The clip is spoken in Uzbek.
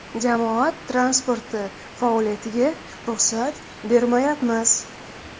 Jamoat transporti faoliyatiga ruxsat bermayapmiz.